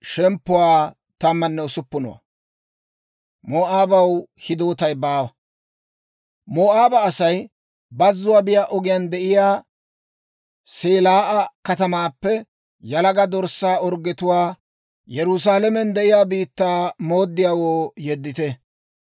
Moo'aaba Asay bazzuwaa biyaa ogiyaan de'iyaa Selaa'a katamaappe yalaga dorssaa orggetuwaa Yerusaalamen de'iyaa biittaa mooddiyaawoo yeddite.